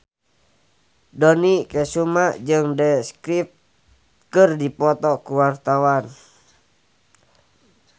Dony Kesuma jeung The Script keur dipoto ku wartawan